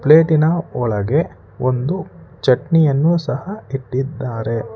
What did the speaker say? ಪ್ಲೇಟಿನ ಒಳಗೆ ಒಂದು ಚಟ್ನಿಯನ್ನು ಸಹ ಇಟ್ಟಿದ್ದಾರೆ.